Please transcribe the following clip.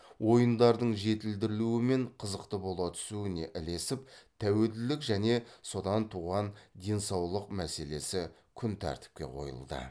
ойындардың жетілдірілуі мен қызықты бола түсуіне ілесіп тәуелділік және содан туған денсаулық мәселесі күнтәртіпке қойылды